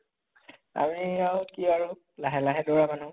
আমি আৰু কি আৰু লাহে লাহে দৌৰা মানুহ